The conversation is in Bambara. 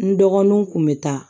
N dɔgɔninw kun be taa